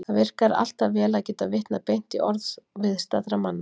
Það virkar alltaf vel að geta vitnað beint í orð viðstaddra manna.